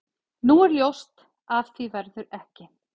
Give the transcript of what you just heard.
Nú er ljóst að af því verður ekki.